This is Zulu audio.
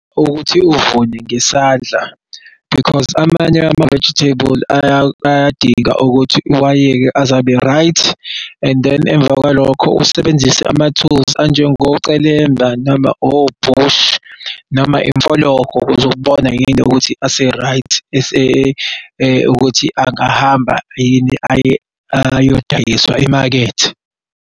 Ukuthi uvune ngesandla because amanye ama-vegetable ayadinga ukuthi uwayeke azabe-right and then emva kwalokho usebenzise ama-tools anjengo celemba noma o-bush noma imfologo ukuze ubone yini ukuthi ase-right ukuthi angahamba yini ayodayiswa emakethe.